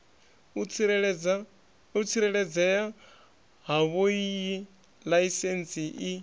u tsireledzea havhoiyi laisentsi i